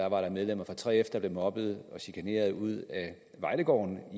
var medlemmer af 3f der blev mobbet og chikaneret ud af vejlegården